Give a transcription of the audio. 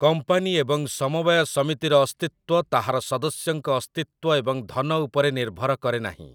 Company ଏବଂ ସମବାୟ ସମିତିର ଅସ୍ତିତ୍ଵ ତାହାର ସଦସ୍ୟଙ୍କ ଅସ୍ତିତ୍ୱ ଏବଂ ଧନ ଉପରେ ନିର୍ଭର କରେନାହିଁ ।